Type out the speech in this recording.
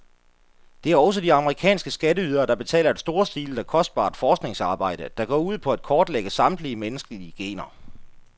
Det er også de amerikanske skatteydere, der betaler et storstilet og kostbart forskningsarbejde, der går ud på at kortlægge samtlige menneskelige gener.